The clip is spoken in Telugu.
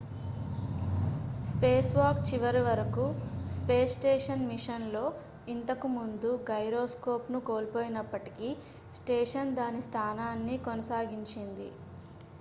స్పేస్ వాక్ చివర వరకు స్పేస్ స్టేషన్ మిషన్ లో ఇంతకు ముందు గైరోస్కోప్ ను కోల్పోయినప్పటికీ స్టేషన్ దాని స్థానాన్ని కొనసాగించింది